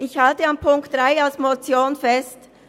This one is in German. Ich halte an Punkt 3 als Motion fest.